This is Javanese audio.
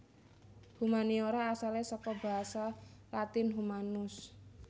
Humaniora asalé saka basa Latin Humanus